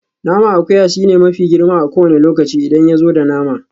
Naman akuya shine mafi girma a kowane lokaci idan yazo da nama.